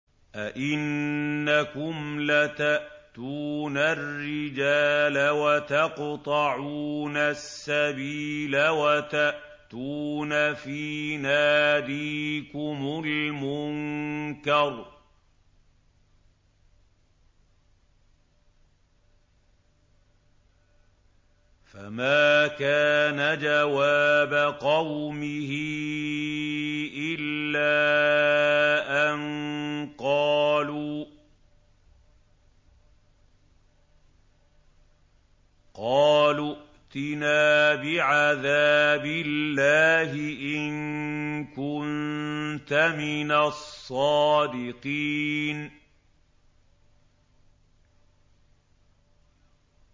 أَئِنَّكُمْ لَتَأْتُونَ الرِّجَالَ وَتَقْطَعُونَ السَّبِيلَ وَتَأْتُونَ فِي نَادِيكُمُ الْمُنكَرَ ۖ فَمَا كَانَ جَوَابَ قَوْمِهِ إِلَّا أَن قَالُوا ائْتِنَا بِعَذَابِ اللَّهِ إِن كُنتَ مِنَ الصَّادِقِينَ